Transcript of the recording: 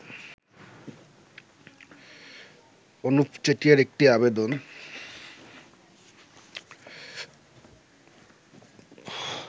অনুপ চেটিয়ার একটি আবেদন